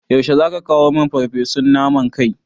Yaushe zaka kawo min farfesun naman kai?